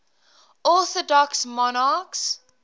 orthodox monarchs